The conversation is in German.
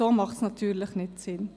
So macht es natürlich keinen Sinn.